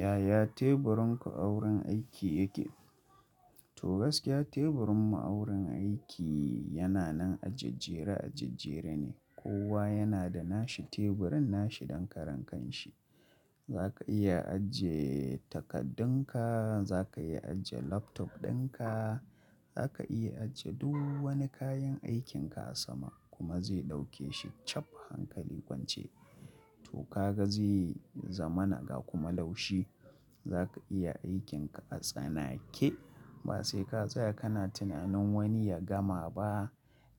Yaya teburin ku a wurin aiki yake? To gaskiya teburin mu a wurin aiki yana nan ajejjere ajejjere ne. Kowa yana da nashi teburin nashi dankaran kanshi. Zaka iya ajiye takaddunka, za ka iya ajiye laptop ɗinka, za ka iya ajiye du wani kayan aikin ka a sama kuma zai dauke shi chap hankali kwance. To ka ga zai zamanaga kuma laushi. Zaka iya aikin ka a tsanake ba sai ka tsaya kana tunanin wani ya gama ba